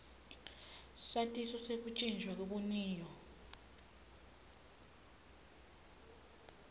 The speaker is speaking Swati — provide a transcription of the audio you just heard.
satiso sekutjintjwa kwebuniyo